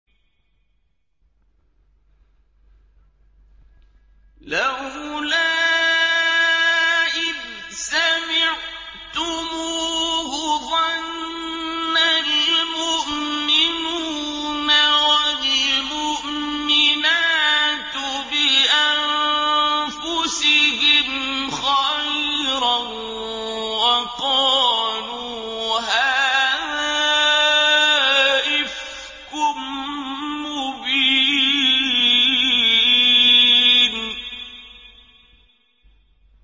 لَّوْلَا إِذْ سَمِعْتُمُوهُ ظَنَّ الْمُؤْمِنُونَ وَالْمُؤْمِنَاتُ بِأَنفُسِهِمْ خَيْرًا وَقَالُوا هَٰذَا إِفْكٌ مُّبِينٌ